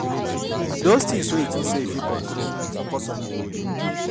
Dose tins wey yu tink sey yu fit control, focus on am